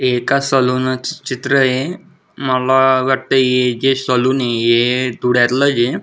हे एका सलुना च चित्रय मला वाटतय हे जे सलून य ये धुळ्यातल चे